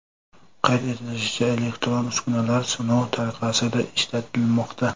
Qayd etilishicha, elektron uskunalar sinov tariqasida ishlatilmoqda.